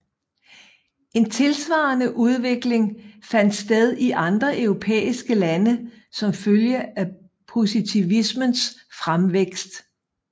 En tilsvarende udvikling fandt sted i andre europæiske lande som følge af positivismens fremvækst